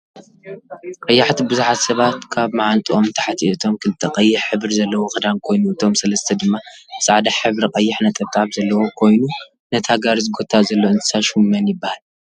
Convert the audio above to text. ቀያሕቲ ብዙሓት ሰባት ካብ ምዓብጥኦም ንታሕቲ እቶም ክልተ ቀይሕ ሕብሪ ዘለዎ ክዳን ኮይኑ እቶም ሰለስተ ድማ ፃዕዳ ሕብሪ ቀይሕ ነጠብጣብ ዘለዎ ኰይኑነታ ጋሪ ዝጎታ ዘሎ እንስሳ ሽሙ መን ይብሃል?